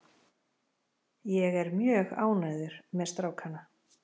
Ég er mjög ánægður með strákana.